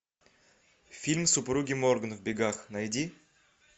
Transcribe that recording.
фильм супруги морганы в бегах найди